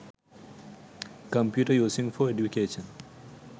computer using for education